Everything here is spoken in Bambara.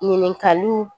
Ɲininkaliw